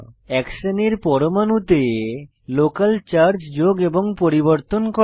এক শ্রেনীর পরমাণুতে লোকাল চার্জ যোগ এবং পরিবর্তন করা